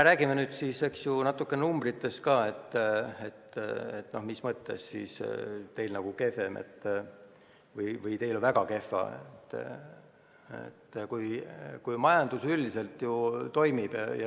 Räägime nüüd natuke ka numbritest, et mis mõttes meil kehvem või väga kehv on, kui majandus üldiselt ju toimib.